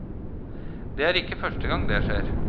Det er ikke første gang det skjer.